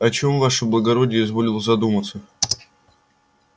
о чем ваше благородие изволил задуматься